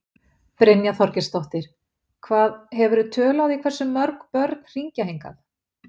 Brynja Þorgeirsdóttir: Hvað, hefurðu tölu á því hversu mörg börn hringja hingað?